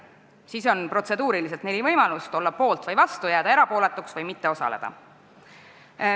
Siis on protseduuriliselt neli võimalust: olla poolt või vastu, jääda erapooletuks või mitte osaleda.